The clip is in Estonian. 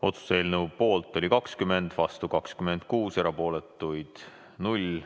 Otsuse eelnõu poolt oli 20 Riigikogu liiget, vastu 26, erapooletuid 0.